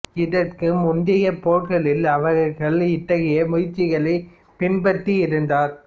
இதற்கு முந்தைய போர்களில் அவர் இத்தகைய முயற்சிகளை பின்பற்றி இருந்தார்